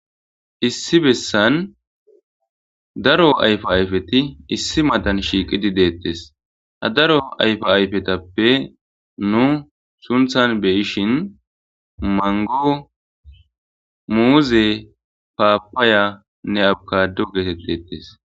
Issi bessan daro ayfo ayfeti issi madan shiiqidi deettes ha daro ayfo ayfetappe nu sunthan beyishin mango muuze paapaya nne abkado geetet deettes.